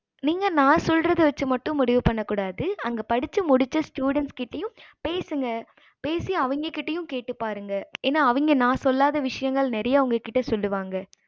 நீங்க நான் சொல்லறது வச்சி மட்டும் முடிவு பன்னகூடாது அங்க படிச்ச students கிட்டயும் பேசுங்க பேசி அவங்க கிட்டையும் கேட்டு பாருங்க ஏன அவங்க நான் சொல்லாத நிறைய விஷயங்கள் அவங்க உங்க கிட்ட சொல்லுவாங்க